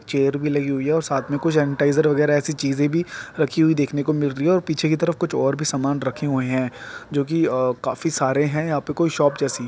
chair भी लगी हुई है और साथ में कुछ सैनिटाइजर वगेहरा ऐसी चीजे भी रखी हुई देखने को मिल रही है पीछे की तरफ और भी सामान रखे हुए हैं जो की काफी सारे हैं यहाँ पे कोई शॉप जैसी --